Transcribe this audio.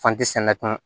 sɛnɛ kun